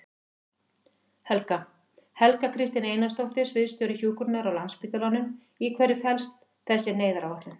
Helga: Helga Kristín Einarsdóttir, sviðsstjóri hjúkrunar á Landspítalanum, í hverju felst þessi neyðaráætlun?